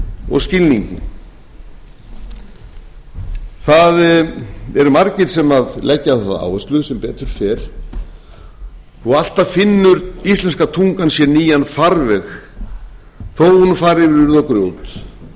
og skilningi það eru margir sem leggja á það áherslu sem betur fer og alltaf finnur íslenska tungan sér nýjan farveg þó hún fari yfir urð og grjót þó